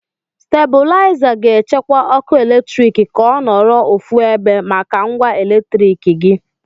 Stebulaiza ga-echekwa ọkụ eletrik ka ọ nọrọ ofu ebe maka ngwa eletriki gị.